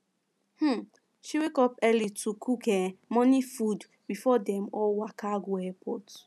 um she wake up early to cook um morning food before dem all waka go airport